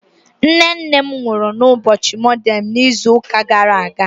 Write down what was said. nne nne m nwuru n'ubochi monde n'izu uka gara aga